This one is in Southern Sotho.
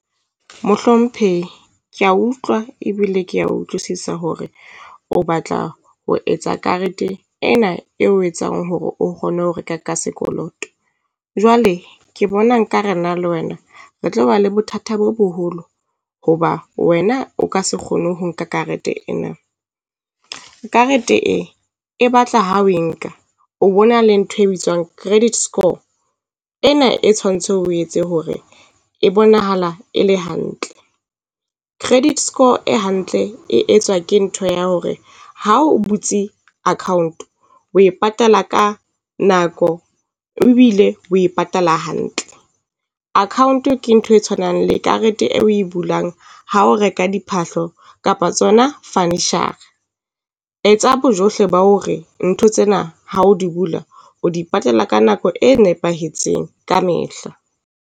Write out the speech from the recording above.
Mohlomphehi kea utlwa ebile kea utlwisisa hore o batla ho etsa karete ena eo etsang hore o kgone ho reka ka sekoloto. Jwale ke bona nkare nna le wena re tloba le bothata bo boholo, hoba wena o ka se kgone ho nka karete ena. Karete e e batla ho e nka, o bona le ntho e bitswang credit score ena e tshwantse o etse hore e bonahala e le hantle. Credit score e hantle e etswa ke ntho ya hore ha o butse account, o e patala ka nako, ebile o e patala hantle. Account ke ntho e tshwanang le karete e o e bulang ha o reka diphahlo kapa tsona furniture-a. Etsa bojohle ba hore ntho tsena ha o di bula, o di patala ka nako e nepahetseng kamehla.